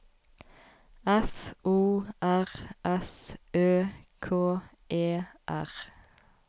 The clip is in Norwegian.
F O R S Ø K E R